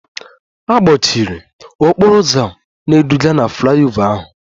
A gbochiri okporo ụzọ na-eduga na flyover ahụ